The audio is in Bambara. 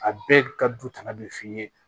A bɛɛ ka du tɔnɔ bɛ f'i ye